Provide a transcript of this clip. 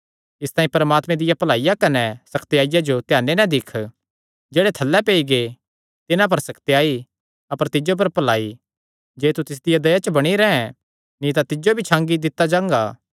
इसतांई परमात्मे दिया भलाईया कने सकत्याईया जो ध्याने नैं दिक्ख जेह्ड़े थल्लैं पेई गै तिन्हां पर सकत्याई अपर तिज्जो पर भलाई जे तू तिसदिया दया च बणी रैंह् नीं तां तिज्जो भी छांगी दित्ता जांगा